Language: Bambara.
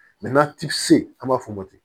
n'a ti se an b'a fɔ o ma ten